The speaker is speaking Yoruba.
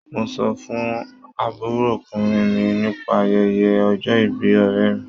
Mo sọ fún àbúròkùnrin mi nípa ayẹyẹ ọjọ́ ìbí ọ̀rẹ́ mi.